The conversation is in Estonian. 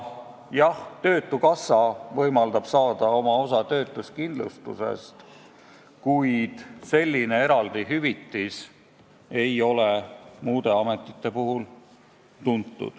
Jah, töötukassa võimaldab saada oma osa töötuskindlustusest, kuid sellist eraldi hüvitist muude ametite puhul ei ole.